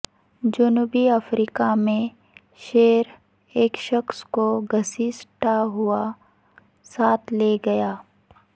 جنوبی افریقہ میں شیر ایک شخص کو گھسیٹتا ہوا ساتھ لے گیا